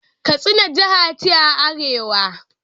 Katsina jiha ce a arewa.